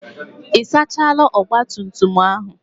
Ị sachaala ogbatumtum ahụ?